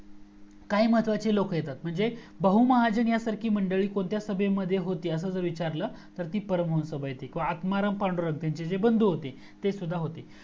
काही महत्वाची लोकं येतात म्हणजे बहुमहाजण या सारखी मंडळी कोणत्या सभे मध्ये होती असा जर विचारलं तर ती परम हंस सभा येते आत्माराम पांडुरग त्यांचे जे निबंध होते ते सुद्धा होते